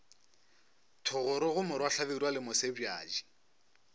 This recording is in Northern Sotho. thogorogo morwa hlabirwa le mosebjadi